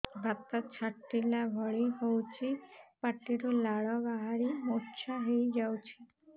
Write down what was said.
ବାତ ଛାଟିଲା ଭଳି ହଉଚି ପାଟିରୁ ଲାଳ ବାହାରି ମୁର୍ଚ୍ଛା ହେଇଯାଉଛି